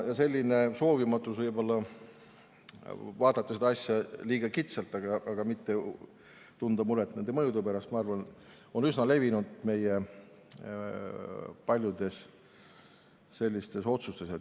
Soov vaadata seda asja liiga kitsalt ja mitte tunda muret mõju pärast on minu arvates üsna levinud meie paljudes otsustes.